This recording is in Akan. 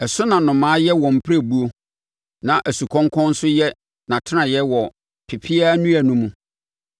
Ɛso na nnomaa yɛ wɔn mpirebuo na asukɔnkɔn nso yɛ nʼatenaeɛ wɔ pepeaa nnua no mu.